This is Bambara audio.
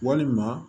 Walima